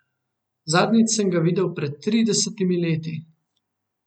Zadnjič sem ga videl pred tridesetimi leti.